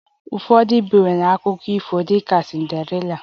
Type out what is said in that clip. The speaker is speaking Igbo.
Ụfọdụ ndị ebiwo akụkọ ifo dị ka Cinderella